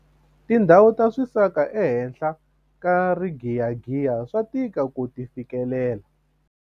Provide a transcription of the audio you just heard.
tindhawu ta swisaka ehenhla ka rigiyagiya swa tika ku ti fikelela